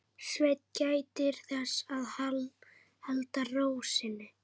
Svenni gætir þess að halda ró sinni.